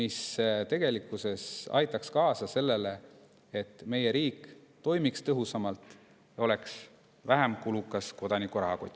See tegelikkuses aitaks kaasa sellele, et meie riik toimiks tõhusamalt ja oleks vähem kulukas kodaniku rahakotile.